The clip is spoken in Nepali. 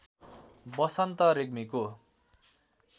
बसन्त रेग्मिको